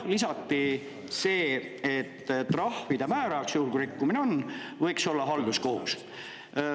Lisati see, et trahvide määraja, juhul kui rikkumine on, võiks olla halduskohus.